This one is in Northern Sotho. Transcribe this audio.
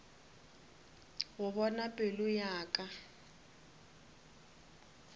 go bona pelo ya ka